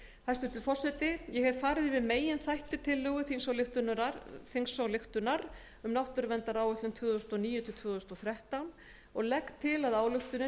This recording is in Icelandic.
hæstvirtur forseti ég hef farið yfir meginþætti tillögu til þingsályktunar um náttúruverndaráætlun tvö þúsund og níu til tvö þúsund og þrettán og legg til að þingsályktunin verði að